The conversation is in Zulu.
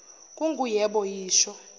kungu yebo yisho